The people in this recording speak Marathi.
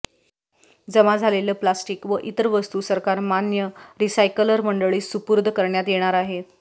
जमा झालेले प्लास्टिक व इतर वस्तू सरकार मान्य रिसायकलर मंडळीस सुपूर्द करण्यात येणार आहे